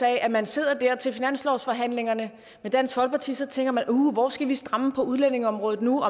af at man sidder der til finanslovsforhandlingerne med dansk folkeparti og så tænker man uh hvor skal vi stramme på udlændingeområdet nu